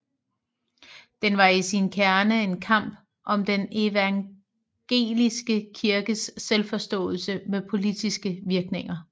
Den var i sin kerne en kamp om den evangeliske kirkes selvforståelse med politiske virkninger